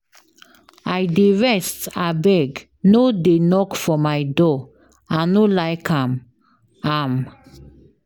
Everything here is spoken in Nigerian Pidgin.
I dey rest abeg no dey knock for my door, I no like am. am.